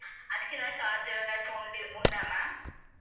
அதுக்கு ஏதாவது charge ஏதாச்சும் வந்து உண்டு உண்டா ma'am